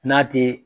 N'a te